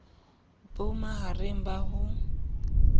bo ma hareng ba ho